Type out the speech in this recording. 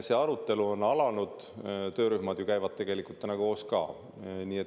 See arutelu on alanud, töörühmad käivad juba koos.